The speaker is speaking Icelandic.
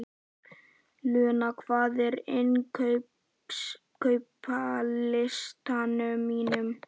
Luna, hvað er á innkaupalistanum mínum?